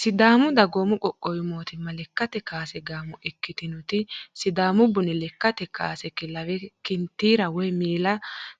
Sidaamu dagoomi qoqqowi mootimma lekkate kaase gaamo ikkitinoti sidaamu buni lekkate kaase kilawe kanitiira woyi maaliiya